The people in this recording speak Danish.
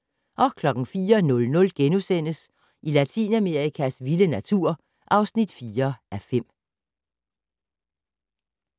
04:00: Latinamerikas vilde natur (4:5)*